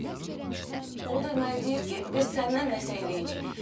O da mənə deyir ki, biz səndən nəsə eləyəcəyik.